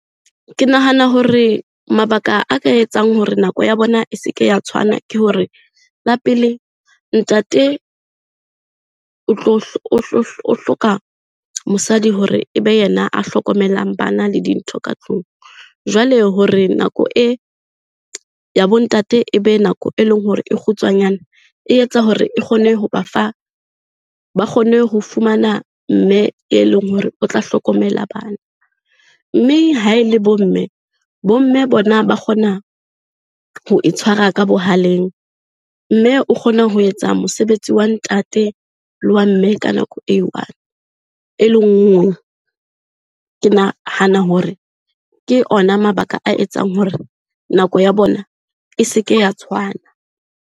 Ke nahana hore mabaka a ka etsang hore nako ya bona e se ke ya tshwana, ke hore la pele ntate o hloka mosadi hore e be yena a hlokomelang bana le dintho ka tlung. Jwale hore nako e ya bo ntate e be nako e leng hore e kgutshwanyane, e etsa hore e kgone ho ba fa, ba kgone ho fumana mme e leng hore o tla hlokomela bana. Mme ha e le bo mme, bo mme bona ba kgona ho e tshwara ka bohaleng. Mme o kgona ho etsa mosebetsi wa ntate le wa mme ka nako e one, e le nngwe. Ke nahana hore ke ona mabaka a etsang hore nako ya bona e se ke ya tshwana.